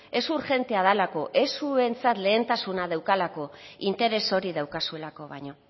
ez urgentea delako ez zuentzat lehentasuna daukalako interes hori daukazuelako baino